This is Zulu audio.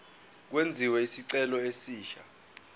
kwenziwe isicelo esisha